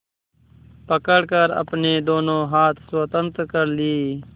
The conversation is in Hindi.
पकड़कर अपने दोनों हाथ स्वतंत्र कर लिए